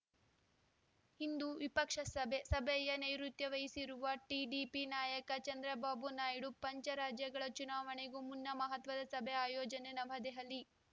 ಇಂದು ವಿಪಕ್ಷ ಸಭೆ ಸಭೆಯ ನೈರುತ್ಯ ವಹಿಸಿರುವ ಟಿಡಿಪಿ ನಾಯಕ ಚಂದ್ರಬಾಬು ನಾಯ್ಡು ಪಂಚ ರಾಜ್ಯಗಳ ಚುನಾವಣೆಗೂ ಮುನ್ನ ಮಹತ್ವದ ಸಭೆ ಆಯೋಜನೆ ನವದೆಹಲಿ